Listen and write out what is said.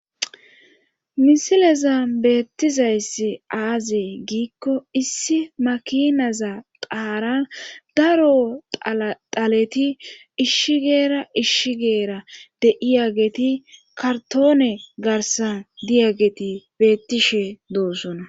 Msileza beettizayssi aaze giikko issi makinaza qaaran daro xaleti ishshigeera ishshigeera de'iya geti kartoone garsan diyageti beettishe doosona.